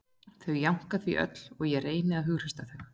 Þau jánka því öll og ég reyni að hughreysta þau